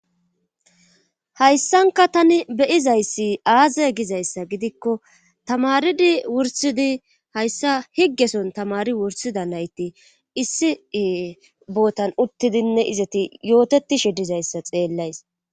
hayssanka tani beyizayssi aaze gizayssa gidikko tamaridi wursidi hayssa higgeson tamari wursida layti issi bootan uttidinne izati yootetishi dizayssa xeellays